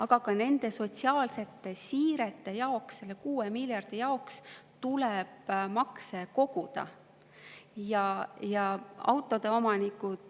Aga nende sotsiaalsete siirete jaoks, selle 6 miljardi, tuleb makse koguda.